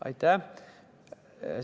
Aitäh!